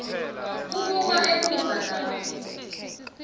kubuka emuva lapho